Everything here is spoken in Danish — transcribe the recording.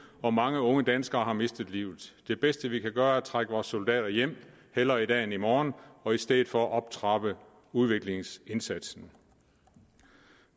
og mange unge danskere har mistet livet det bedste vi kan gøre er at trække vores soldater hjem hellere i dag end i morgen og i stedet for optrappe udviklingsindsatsen